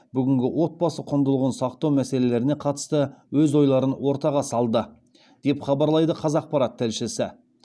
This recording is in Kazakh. бүгінгі отбасы құндылығын сақтау мәселелеріне қатысты өз ойларын ортаға салды деп хабарлайды қазақпарат тілшісі